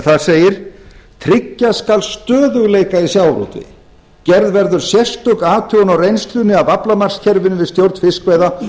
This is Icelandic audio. þar segir tryggja skal stöðugleika í sjávarútvegi gerð verður sérstök athugun á reynslunni af aflamarkskerfinu við stjórn fiskveiða